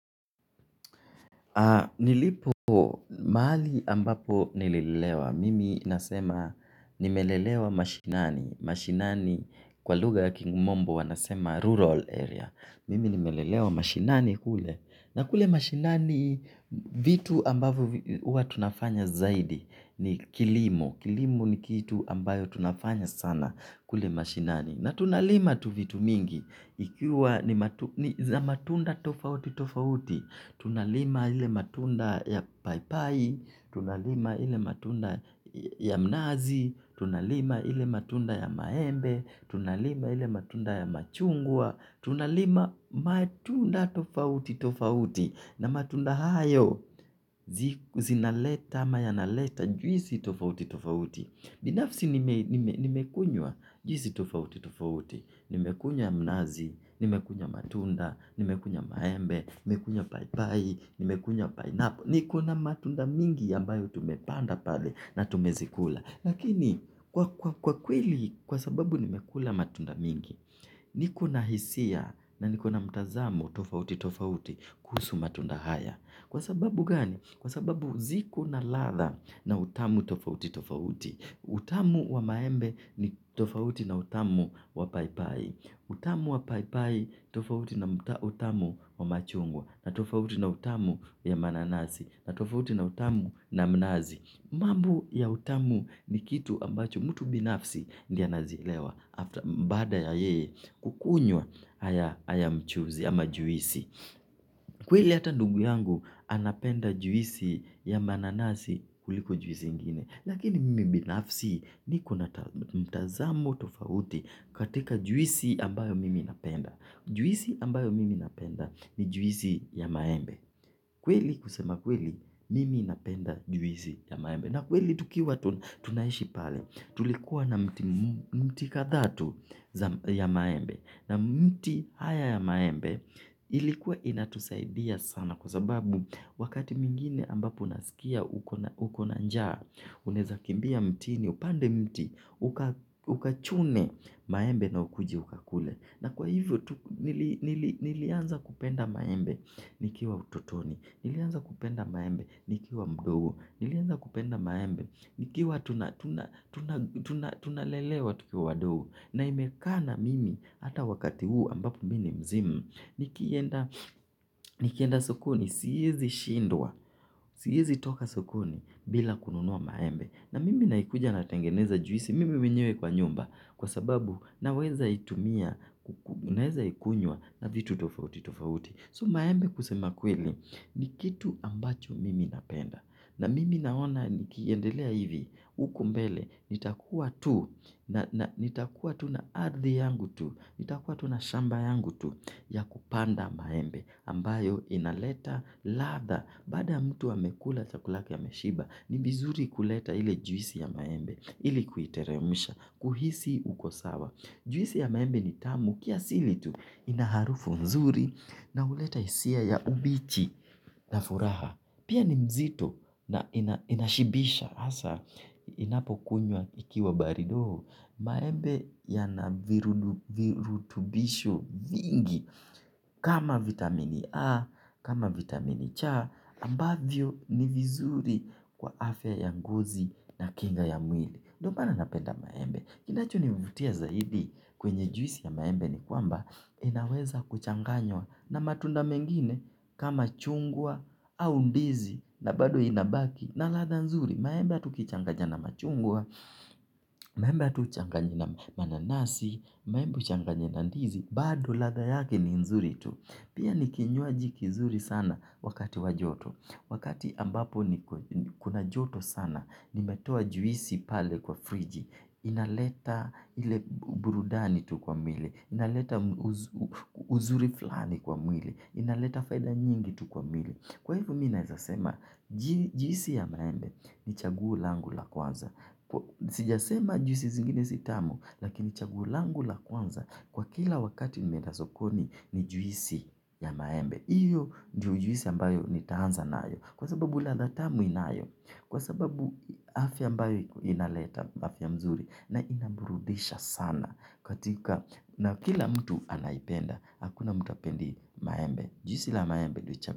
Nilipo maali ambapo nilelewa. Mimi nasema nimelelewa mashinani. Mashinani kwa luga ya kimombo wanasema rural area. Mimi nimelelewa mashinani kule. Na kule mashinani vitu ambavo uwa tunafanya zaidi ni kilimo. Kilimu ni kitu ambayo tunafanya sana kule mashinani. Na tunalima tu vitu mingi. Ikiwa ni matunda tofauti tofauti. Tunalima ile matunda ya paipai. Tunalima ile matunda ya mnazi. Tunalima ile matunda ya maembe. Tunalima ile matunda ya machungwa. Tunalima matunda tofauti tofauti. Na matunda hayo zinaleta ama yanaleta juisi tofauti tofauti. Binafsi nimekunywa juisi tofauti tofauti. Nimekunya mnazi, nimekunya matunda, nimekunya maembe, nimekunya paipai, nimekunya painapo. Nikona matunda mingi yambayo tumepanda pale na tumezikula. Lakini kwa kweli kwa sababu nimekula matunda mingi. Nikona hisia na nikona mtazamo tofauti tofauti kuhusu matunda haya. Kwa sababu gani? Kwa sababu ziko na latha na utamu tofauti tofauti. Utamu wa maembe ni tofauti na utamu wa paipai. Utamu wa paipai tofauti na utamu wa machungwa. Na tofauti na utamu ya mananasi. Na tofauti na utamu na mnazi. Mambo ya utamu ni kitu ambacho mtu binafsi ndiye anazilewa baada ya yeye kukunywa haya mchuzi ama juisi. Kweli hata ndugu yangu anapenda juisi ya mananasi kuliko juisi ingine. Lakini mimi binafsi ni kona mtazamo tofauti katika juisi ambayo mimi napenda. Juisi ambayo mimi napenda ni juisi ya maembe. Kweli kusema kweli mimi napenda juisi ya maembe. Na kweli tukiwa tunaishi pale tulikuwa na mti katha tu ya maembe na mti haya ya maembe ilikuwa inatusaidia sana kwa sababu wakati mingine ambapo unasikia ukona njaa uneza kimbia mtini upande mti ukachune maembe na ukuje ukakule. Na kwa hivyo, nilianza kupenda maembe nikiwa utotoni, nilianza kupenda maembe nikiwa mdogo, nilianza kupenda maembe nikiwa tunalelewa tukiwa wadogo. Na imekana mimi ata wakati huu ambapo mini mzima, nikienda sokoni, siyezi shindwa, siyezi toka sokoni bila kununua maembe. Na mimi naikuja natengeneza juisi mimi mwenyewe kwa nyumba kwa sababu naweza itumia, naweza ikunywa na vitu tofauti tofauti. So maembe kusema kweli ni kitu ambacho mimi napenda. Na mimi naona nikiendelea hivi uku mbele nitakuwa tu na ardhi yangu tu, nitakuwa tu na shamba yangu tu ya kupanda maembe. Ambayo inaleta latha bada ya mtu amekula chakula yake ameshiba ni vizuri kuleta ile juisi ya maembe ili kuiteremusha kuhisi uko sawa juisi ya maembe ni tamu kiasili tu inaharufu mzuri na uleta isia ya ubichi na furaha pia ni mzito na inashibisha asa inapo kunywa ikiwa barido maembe yana virutubisho vingi. Kama vitamini A, kama vitamini cha ambavyo ni vizuri kwa afia ya ngozi na kinga ya mwili. Ndo mana napenda maembe. Kinacho nivutia zaidi kwenye juisi ya maembe ni kuamba inaweza kuchanganywa na matunda mengine. Kama chungwa au ndizi na bado inabaki na latha nzuri maembe ata ukichanganya na machungwa. Maembe ata uchanganye na mananasi. Maembe uchanganye na ndizi. Bado lada yake ni nzuri tu. Pia ni kinyoaji kizuri sana wakati wajoto. Wakati ambapo ni kuna joto sana, nimetoa juisi pale kwa friji. Inaleta ile burudani tu kwa mwili. Inaleta uzuri flani kwa mwili. Inaleta faida nyingi tu kwa mwili. Kwa hivo minaeza sema juisi ya maembe ni chaguo langu la kwanza. Sijasema juisi zingine sitamu lakini chaguo langu la kwanza kwa kila wakati nimeda sokoni ni juisi ya maembe. Iyo ndiyo juisi ambayo nitahanza nayo. Kwa sababu latha tamu inayo. Kwa sababu afya ambayo inaleta afya mzuri na inambrudisha sana katika na kila mtu anaipenda. Hakuna mtu apendi maembe. Juisi ila maembe duitiam.